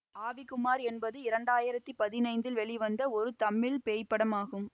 ஆவி குமார் என்பது இரண்டாயிரத்தி பதினைந்தில் வெளிவந்த ஒரு தமிழ் பேய்ப்படம் ஆகும்